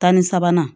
Tan ni sabanan